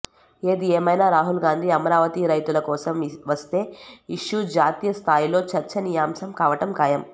ఏది ఏమైనా రాహుల్ గాంధీ అమరావతి రైతుల కోసం వస్తే ఇష్యూ జాతీయ స్థాయిలో చర్చనీయాంశం కావటం ఖాయం